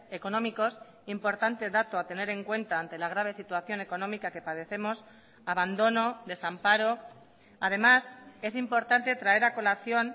económicos importante dato a tener en cuenta ante la grave situación económica que padecemos abandono desamparo además es importante traer a colación